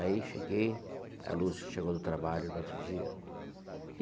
Aí cheguei, a Lúcia chegou do trabalho no outro dia.